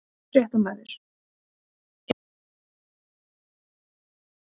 Fréttamaður: Er beygur í ykkur að fara?